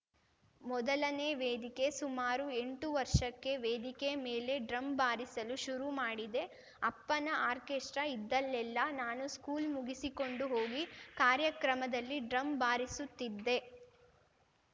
ಮೊದಲನೇ ವೇದಿಕೆ ಸುಮಾರು ಎಂಟು ವರ್ಷಕ್ಕೆ ವೇದಿಕೆ ಮೇಲೆ ಡ್ರಮ್‌ ಬಾರಿಸಲು ಶುರು ಮಾಡಿದೆ ಅಪ್ಪನ ಆಕ್ರೆಸ್ಟ್ರಾ ಇದ್ದಲ್ಲೆಲ್ಲಾ ನಾನು ಸ್ಕೂಲ್‌ ಮುಗಿಸಿಕೊಂಡು ಹೋಗಿ ಕಾರ್ಯಕ್ರಮದಲ್ಲಿ ಡ್ರಮ್‌ ಬಾರಿಸುತ್ತಿದ್ದೆ